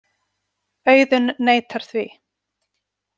Auðunn neitar því.